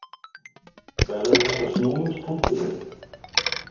Verður þetta snúningspunkturinn?